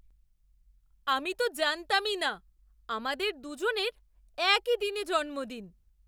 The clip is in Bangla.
আমি তো জানতামই না আমাদের দুজনের একই দিনে জন্মদিন!